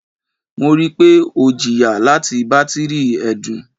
Mo rii pe o jiya lati batiri ẹdun